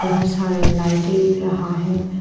बहोत सारे लाइटें दिख रहा है।